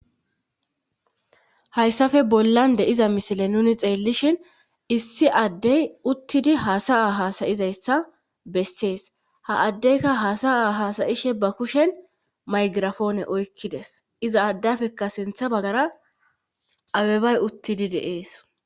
hayssafe bollan de'iza misile nuni xeellishin issi addey uttidi haasa7a hasayizayssa bessees ha addeyka hasa'a hasayishe ba kushen maygirafoone oykkides iza addafekka sintha bagara abebay uttidi de'ees